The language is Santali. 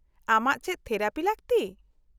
-ᱟᱢᱟᱜ ᱪᱮᱫ ᱛᱷᱮᱨᱟᱯᱤ ᱞᱟᱹᱠᱛᱤ ?